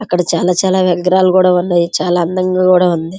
అక్కడ చాలా చాలా విగ్రహాలు కూడా ఉన్నాయి. చాలా అందంగా కూడా ఉంది.